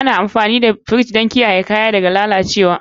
Ana amfani da firji don kiyaye kaya daga lalacewa.